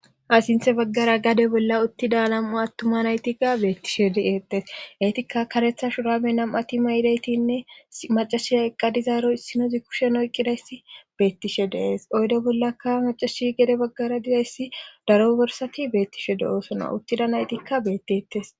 asinthe baggara gade bolla uttida alam7u attuma naytikka beettishe di eeqtes eetikka karetha shurame nam7ati maydaytinne macashiy eqqadizaaro issinozi kushen oyqqidayssi beettishe deees oydo bollaka macashi gade baggara dizayssi daro borsati beettishe de7oosono uttida naytikka beettetes